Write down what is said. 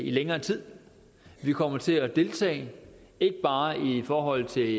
længere tid og vi kommer til at deltage ikke bare i forhold til